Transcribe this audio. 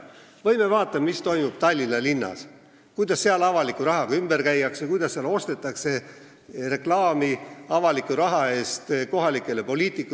Või vaadake, mis toimub Tallinna linnas, kuidas seal avaliku rahaga ümber käiakse, kuidas seal ostetakse kohalikele poliitikutele avaliku raha eest reklaami.